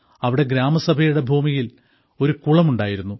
അവിടെ ഗ്രാമസഭയുടെ ഭൂമിയിൽ ഒരു കുളം ഉണ്ടായിരുന്നു